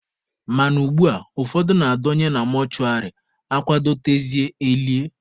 Mana ugbua, ụfọdụ na-adọnye na mọshụwarị, akwadotezie elie.